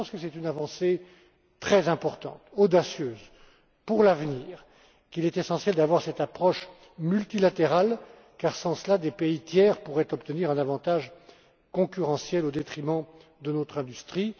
Je pense que c'est une avancée très importante et audacieuse pour l'avenir et qu'il est essentiel d'avoir cette approche multilatérale car, sans cela, des pays tiers pourraient obtenir un avantage concurrentiel au détriment de notre industrie.